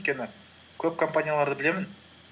өйткені көп компанияларды білемін